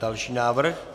Další návrh.